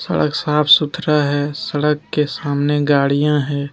सड़क साफ सुथरा है सड़क के सामने गाड़ियां है।